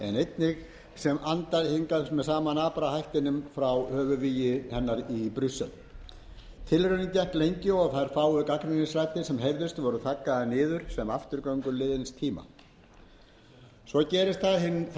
frjálshyggja sem var heimatilbúin en einnig andaði sama napra andardrættinum frá höfuðvíginu í brussel tilraunin gekk lengi og þær fáu gagnrýnisraddir sem heyrðust voru þaggaðar niður sem afturganga löngu liðins tíma svo gerist